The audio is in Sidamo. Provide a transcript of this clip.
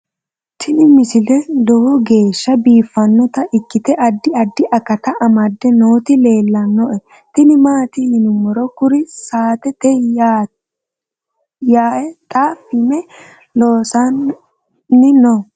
tini misile lowo geeshsha biiffannota ikkite addi addi akata amadde nooti leeltannoe tini maati yiniro kuri saatete yaae xa fm loossanni no